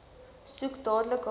soek dadelik hulp